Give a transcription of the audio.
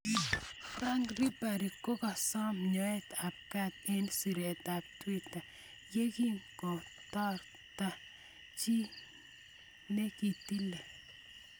Frank Ribery kokakosom nyoet ab kat eng' siret ab Twitter ye giingothorta chi ne kitile.